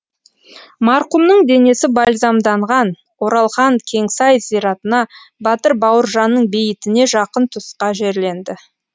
марқұмның денесі бальзамданған оралхан кеңсай зиратына батыр бауыржанның бейітіне жақын тұсқа жерленді